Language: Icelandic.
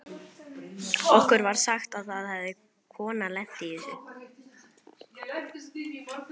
Okkur var sagt að það hefði kona lent í þessu.